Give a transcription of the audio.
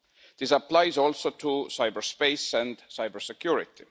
This applies also to cyberspace and cybersecurity.